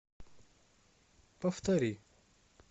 повтори